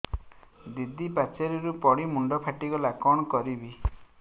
ଦିଦି ପାଚେରୀରୁ ପଡି ମୁଣ୍ଡ ଫାଟିଗଲା କଣ କରିବି